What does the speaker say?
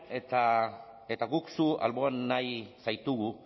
eta guk zu alboan nahi zaitugu